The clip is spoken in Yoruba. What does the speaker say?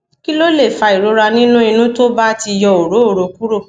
kí ló lè fa ìrora nínú inu tó ba ti yọ orooro kúrò